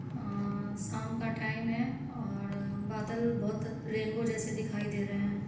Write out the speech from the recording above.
अ-- साम का टाइम है और बादल बहोत रेनबो जैसे दिखाई दे रहे हैं।